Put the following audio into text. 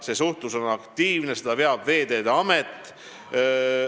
See suhtlus on aktiivne, seda veab Veeteede Amet.